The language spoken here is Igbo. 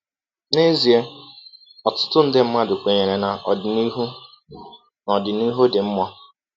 N’ezie, ọtụtụ nde mmadụ kwenyere na ọdịnihu na ọdịnihu dị mma.